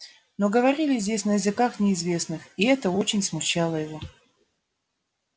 но говорили здесь на языках неизвестных и это очень смущало его